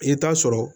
I bɛ taa sɔrɔ